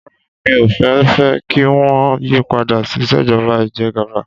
Rárá mi ò fẹ́ fẹ́ kí wọ́n yí padà sí ìṣèjọba ìjẹgàba.